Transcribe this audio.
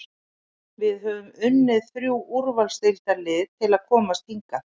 Við höfum unnið þrjú úrvalsdeildarlið til að komast hingað.